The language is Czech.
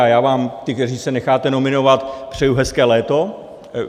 A já vám, těm, kteří se necháte nominovat, přeji hezké léto.